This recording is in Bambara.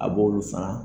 A b'olu fara